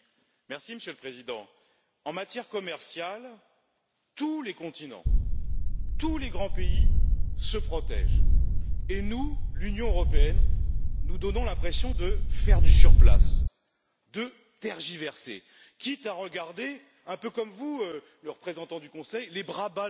Monsieur le Président, en matière commerciale, tous les continents, tous les grands pays se protègent et nous, l'Union européenne, donnons l'impression de faire du surplace, de tergiverser, quitte à regarder un peu comme vous, le représentant du Conseil les bras ballants,